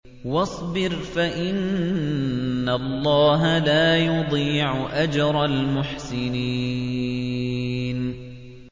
وَاصْبِرْ فَإِنَّ اللَّهَ لَا يُضِيعُ أَجْرَ الْمُحْسِنِينَ